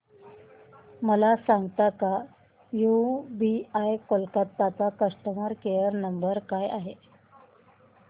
मला सांगता का यूबीआय कोलकता चा कस्टमर केयर नंबर काय आहे